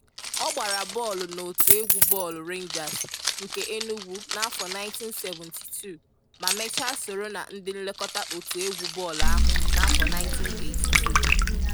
Ọ gbara bọọlụ n'otu egwu bọọlụ Rangers nke Enugwu n'afọ 1972 ma mechaa soro na ndị nlekọta otu egwu bọọlụ ahụ n'afọ 1982.